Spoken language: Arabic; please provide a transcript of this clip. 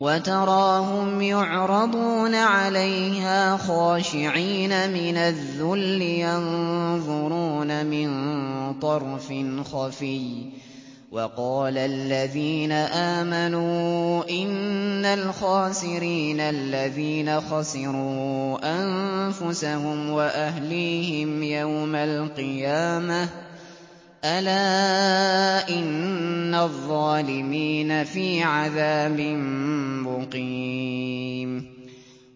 وَتَرَاهُمْ يُعْرَضُونَ عَلَيْهَا خَاشِعِينَ مِنَ الذُّلِّ يَنظُرُونَ مِن طَرْفٍ خَفِيٍّ ۗ وَقَالَ الَّذِينَ آمَنُوا إِنَّ الْخَاسِرِينَ الَّذِينَ خَسِرُوا أَنفُسَهُمْ وَأَهْلِيهِمْ يَوْمَ الْقِيَامَةِ ۗ أَلَا إِنَّ الظَّالِمِينَ فِي عَذَابٍ مُّقِيمٍ